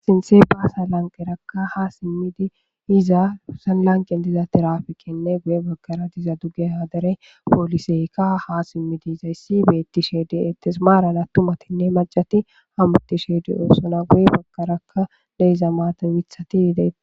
sinthe baasa lanqerakka ha simmidi iza husanlanqen diza tirafikenne guye baggara diza dugge hadare pooliseykka ha simmidi izayssi beettishedi ettis maaran a tumatinne majati ha muttishedi oossona guye baggarakka deyza maatin mithati yide